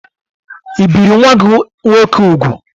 I biri nwa-gi nwoke úgwù?